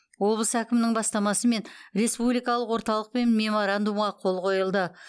облыс әкімінің бастамасымен республикалық орталықпен меморандумға қол қойылды